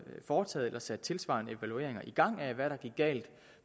foretaget eller sat tilsvarende evalueringer i gang af hvad der gik galt